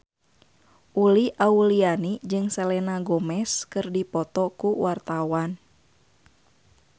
Uli Auliani jeung Selena Gomez keur dipoto ku wartawan